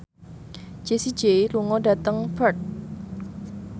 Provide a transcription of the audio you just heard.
Jessie J lunga dhateng Perth